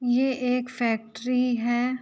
ये एक फैक्ट्री है।